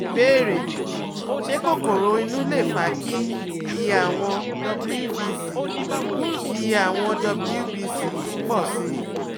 Ìbéèrè: Ṣé kokoro inú lè fa kí iye àwọn WBC iye àwọn WBC pọ̀ sí i?